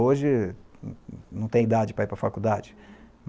Hoje, não tem idade para ir para a faculdade.